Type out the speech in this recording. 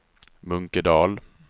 Munkedal